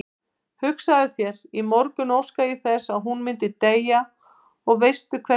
Hugsaðu þér, í morgun óskaði ég þess að hún myndi deyja og veistu hversvegna?